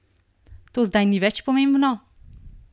To zdaj ni več pomembno?